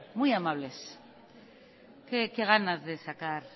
muy amables qué ganas de sacar